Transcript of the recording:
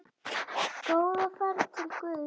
Góða ferð til Guðs.